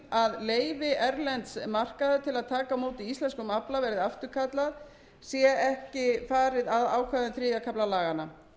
að leyfi erlends markaðar til að taka á móti íslenskum afla verði afturkallað sé ekki farið að ákvæðum þriðja kafla laganna